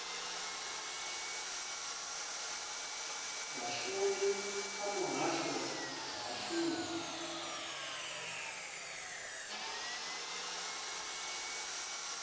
vhashumi kha muhasho wa vhashumi